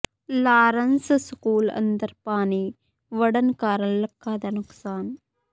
Lawrence school ਅੰਦਰ ਪਾਣੀ ਵੜਨ ਕਾਰਨ ਲੱਖਾਂ ਦਾ ਨੁਕਸਾਨ